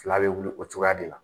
Fila bɛ wili o cogoya de la.